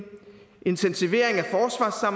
intensivering